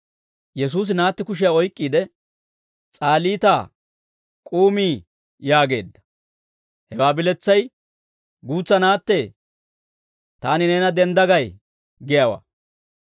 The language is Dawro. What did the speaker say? Yesuusi naatti kushiyaa oyk'k'iide, «S'aalitaa, k'uumii» yaageedda; hewaa biletsay, «Guutsa naattee, taani neena dendda gay» giyaawaa.